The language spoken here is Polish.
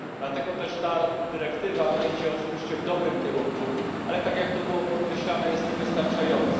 Dlatego też ta dyrektywa idzie oczywiście w dobrym kierunku, ale ,jak to było podkreślane, jest niewystarczająca.